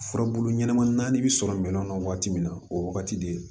Furabulu ɲɛnɛma naani bɛ sɔrɔ minɛn kɔnɔ waati min na o wagati de